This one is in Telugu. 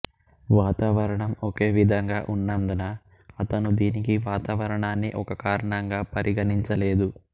వాతావరణం ఒకే విధంగా ఉన్నందున అతను దీనికి వాతావరణాన్ని ఒక కారణంగా పరిగణించలేదు